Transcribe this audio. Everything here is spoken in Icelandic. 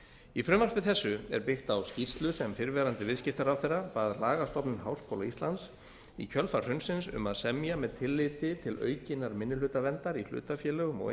í frumvarpi þessu er byggt á skýrslu sem fyrrverandi viðskiptaráðherra bað lagastofnun háskóla íslands í kjölfar hrunsins um að semja með tilliti til aukinnar minnihlutavernd í hlutafélögum og